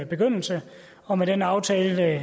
begyndelse og med den aftale